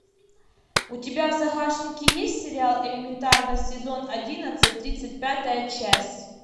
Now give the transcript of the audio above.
у тебя в загашнике есть сериал элементарно сезон одиннадцать тридцать пятая часть